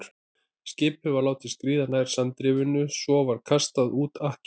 Skipið var látið skríða nær sandrifinu, svo var kastað út ankeri.